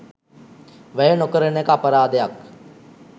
වැය නොකරන එක අපරාධයක්.